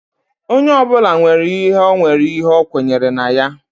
Onye ọbụla nwere ihe ọ nwere ihe o kwenyere na ya